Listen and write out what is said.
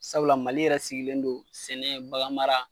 Sabula Mali yɛrɛ sigilen don sɛnɛ baganmara